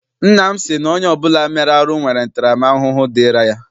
Nna m sị na onye ọbụla mere arụ nwere ntara m ahụhụ dịịrị ya.